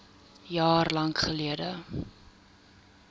jaar lank geldig